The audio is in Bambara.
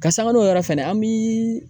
Ka sangan n'o yɔrɔ fɛnɛ an bi.